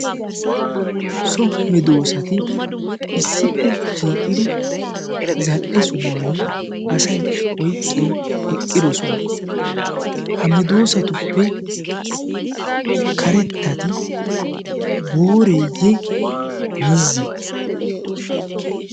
so medoosati issippe shiiqiri zal'e sohuwan asay oiqqin eqqidosona ha medoosatuppe karettati booreeyye miizzi